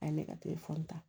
A ye ne ka ta